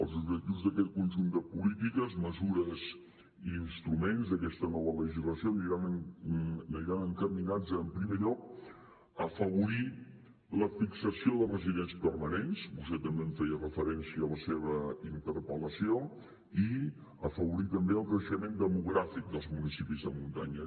els objectius d’aquest conjunt de polítiques mesures i instruments d’aquesta nova legislació aniran encaminats a en primer lloc afavorir la fixació de residents permanents vostè també hi feia referència a la seva interpel·lació i afavorir també el creixement demogràfic dels municipis de muntanya